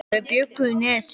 Þau bjuggu í Nesi.